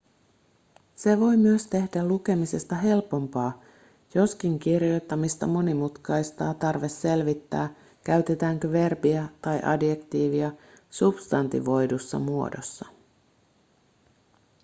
se voi myös tehdä lukemisesta helpompaa joskin kirjoittamista monimutkaistaa tarve selvittää käytetäänkö verbiä tai adjektiivia substantivoidussa muodossa